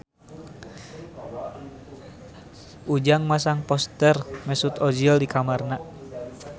Ujang masang poster Mesut Ozil di kamarna